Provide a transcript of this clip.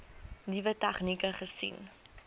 nuwe tegnieke gesien